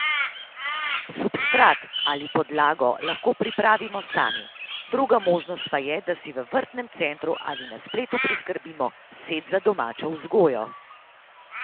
Substrat ali podlago lahko pripravimo sami, druga možnost pa je, da si v vrtnem centru ali na spletu priskrbimo set za domačo vzgojo.